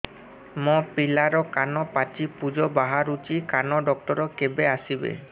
ମୋ ପିଲାର କାନ ପାଚି ପୂଜ ବାହାରୁଚି କାନ ଡକ୍ଟର କେବେ ଆସିବେ